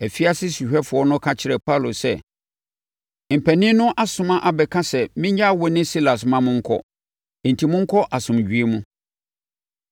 Afiase sohwɛfoɔ no ka kyerɛɛ Paulo sɛ, “Mpanin no asoma abɛka sɛ mennyaa wo ne Silas ma monkɔ. Enti, monkɔ asomdwoeɛ mu.”